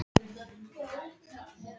Ætli fyrirmyndirnar elti mann ævina á enda?